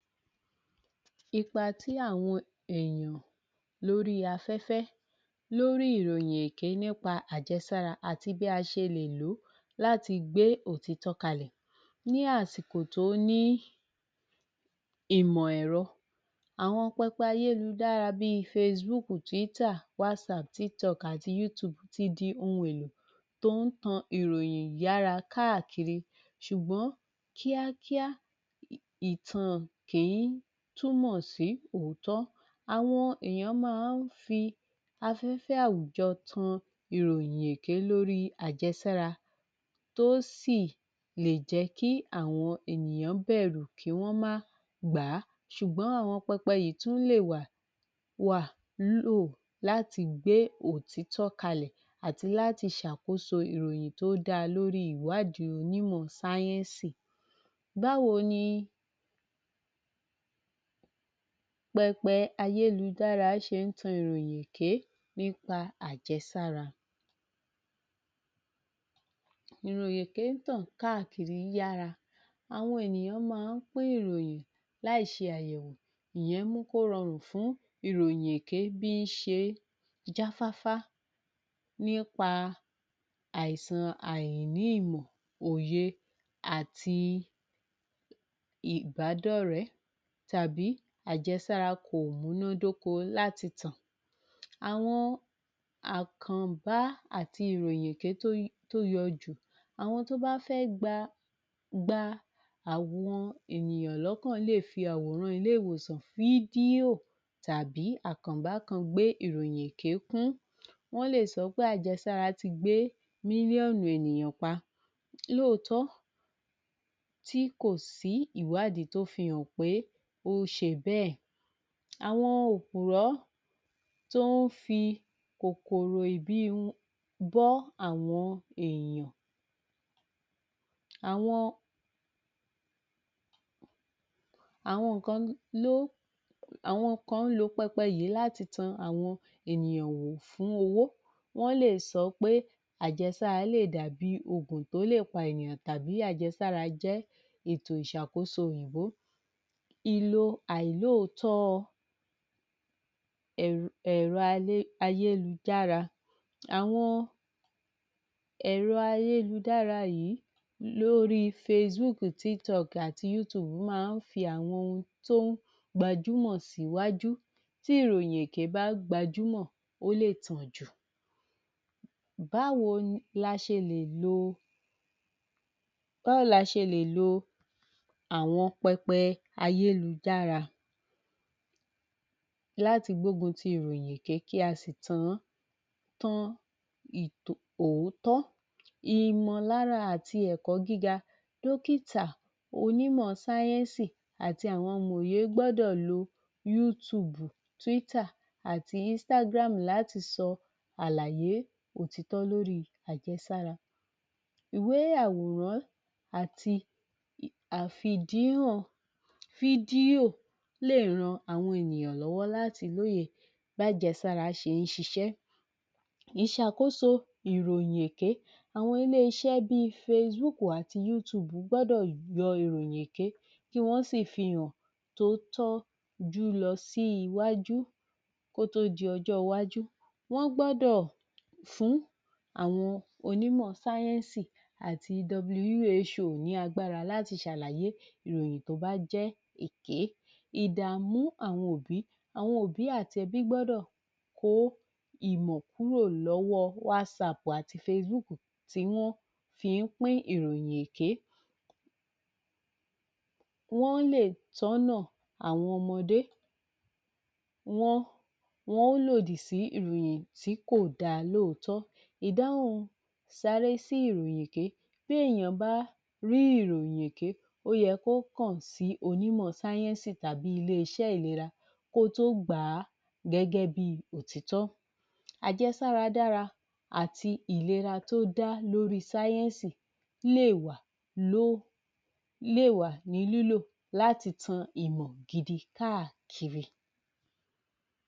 Ipa tí àwọn èèyàn lórí afẹ́fẹ́ lórí ìròyìn èké nípa àjẹsára àti bí a ṣe lè lò ó láti gbe ́ òtítọ́ kalẹ̀ ní àsìkò tó ní ìmọ̀ ẹ̀rọ àwọn pẹpẹ ayélujára bí àti ti di ohun èlò tó ń tan ìròyìn yára káàkiri ṣùgbọ́n kíákíá ìtàn kì í túmọ̀ sí òótọ́. Àwọn èèyàn máa ń fi afẹ́fẹ́ àwùjọ tan ìròyìn èké lórí àjẹsára tó sì lè jẹ́ kí àwọn ènìyàn bẹ̀rù kí wọ́n má gbà á ṣùgbọ́n àwọn pẹpẹ yìí tún lè wà láti gbé òtítọ́ kalẹ̀ àti láti ṣàkóso ìròyìn tó da lórí ìwádìí onímọ̀ sáyẹ́nsì báwo ni pẹpẹ ayélujára ṣe ń tan ìròyìn èké nípa àjẹsára ìròyìn èké ń tàn káàkiri yára àwọn ènìyàn máa ń pín ìròyìn láì ṣe àyẹ̀wò ìyẹn mú kó rọrùn fún ìròyìn èké bí ń ṣe jáfáfá nípa àìsàn àíní ìmọ̀, òye àti ìbádọ́rẹ̀ẹ́ tàbí àjẹsára kò múná dóko láti tàn Àwọn àkànbá àti ìròyìn èké tó yọ jù Àwọn tó bá fẹ́ gba um gba àwọn ènìyàn lọ́kàn lè fì àwòràn ilé-ìwòsàn fídíò tàbí àkànbá kan gbé ìròyìn èké kún wọn lè sọ pé àjẹsára ti gbé mílíọ̀nù ènìyàn pa lóòtọ́ tí kò sí ìwádìí tó fi hàn pé ó ń ṣe bẹ́ẹ̀ àwọn òpùrọ́ tó ń fi kòkòrò ìbí bọ́ àwọn ènìyàn àwọn um àwọn kan ń lo pẹpẹ yìí láti tan àwọn ènìyàn wò fún owó wọ́n lè sọ pé àjẹsára lè dàbí oògùn tó lè pa ènìyàn tàbí àjẹsára jẹ́ ètò ìṣàkóso òyìnbó ìlò àìlóòtọ́ ẹ̀rọ um ayélujára àwọn ẹ̀rọ ayélujára yìí lórí facebook, tiktok, youtube máa ń fi àyè gba àwọn ohun tó ń gbajúmọ̀ síwájú, tí ìròyìn èké bá gbajúmọ̀ ó lè tàn jù Báwo la ṣe lè lo Báwo la ṣe lè lo àwọn pẹpẹ ayélujára láti gbógun ti ìròyìn èké kí a sì tàn an? Tán um òótọ́ Ìmọ̀lára àti èkọ́ gíga dọ́kítà onímọ̀ sáyẹ́nsì àti àwọn amòye gbọ́dọ̀ lo youtube, twitter, àti instagram láti sọ àlàyé òtítọ́ lórí àjẹsára Ìwé àwọ̀ràn àti àfidíwọ̀n fídíò lè ran àwọn ènìyàn lọ́wọ́ láti lóye bí àjẹsára ṣe ń ṣisẹ́ ìsàkóso ìròyìn èké àwọn ilé-iṣẹ́ bi facebook àti youtube gbọ́dọ̀ yọ ìròyìn èké kí wọ́n sì fi hàn tó tọ́jú lọ sí iwájú kó tó di ọjọ́ iwájú wọ́n gbọ́dọ̀ fún àwọn onímọ̀ sáyẹ́nsì àti ní aggbára láti ṣàlàyé ìròyìn tó bá jẹ́ èké. Ìdàmú àwọn òbí. Àwọn òbí àti ẹbí gbọ́dọ̀ kó ìmọ̀ kúrò lọ́wọ àti tí wọ́n fi ń pín ìròyìn èké wọ́n lè tọ́nà àwọn ọmọdé wọ́n um lòdì sí ìròyìn tí kò dáa lóòtọ́ ìdáhùn sáré sí ìròyìn pé bí èèyàn bá rí ìròyìn èké ó yẹ kó kàn sí onímọ̀ sáyẹ́nsì tàbí ilé-iṣẹ́ ìlera kó tó gbà á gẹ́gẹ́ bí òtiítọ́ Àjẹsára dára àti ìlera tó dá lórí sáyẹ́nsì lè wà ní lílò láti tan ìmọ̀ gidi káàkiri